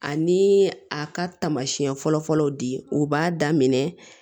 Ani a ka taamasiyɛn fɔlɔfɔlɔ di u b'a daminɛ